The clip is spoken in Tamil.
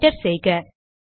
என்டர் செய்க